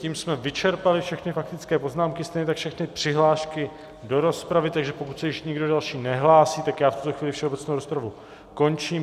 Tím jsme vyčerpali všechny faktické poznámky, stejně tak všechny přihlášky do rozpravy, takže pokud se již nikdo další nehlásí, tak já v tuto chvíli všeobecnou rozpravu končím.